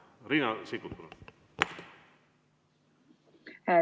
Riina Sikkut, palun!